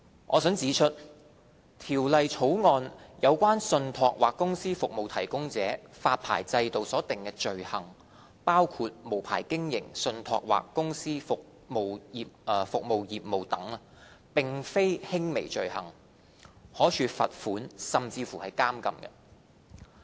我想指出，《條例草案》有關信託或公司服務提供者發牌制度所訂的罪行，包括無牌經營信託或公司服務業務等，並非輕微罪行，可處罰款甚至監禁。